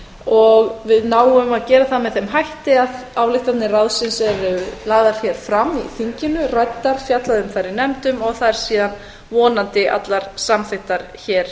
og við náum að gera það með þeim hætti að ályktanir ráðsins eru lagðar hér fram í þinginu ræddar fjallað um þær í nefndum og þær síðan vonandi allar samþykktar hér